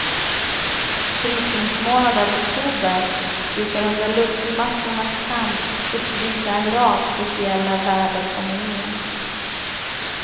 Brytningsmånaden oktober brukar under luftmassornas kamp uppvisa en rad speciella väderfenomen.